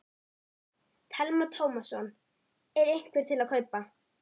Telma Tómasson: Er einhver til að kaupa?